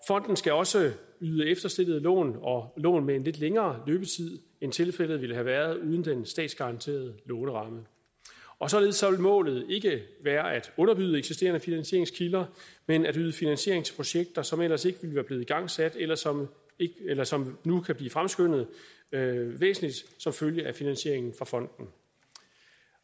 fonden skal også yde efterstillede lån og lån med en lidt længere løbetid end tilfældet ville have været uden den statsgaranterede låneramme og således vil målet ikke være at underbyde eksisterende finansieringskilder men at yde finansiering til projekter som ellers ikke være blevet igangsat eller som eller som nu kan blive fremskyndet væsentligt som følge af finansieringen fra fonden